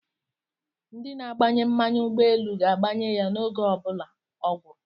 Ndi na-agbanye mmanụ ugboelu ga-agbanye ya oge obula o guru